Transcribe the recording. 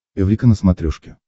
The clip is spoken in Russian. эврика на смотрешке